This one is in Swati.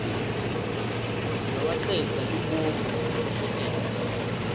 lowacedza lubombo ngekuhlehletela